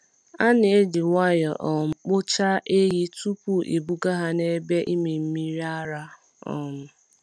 A na-eji nwayọọ um kpochaa ehi tupu ebuga ha n’ebe ịmị mmiri ara. um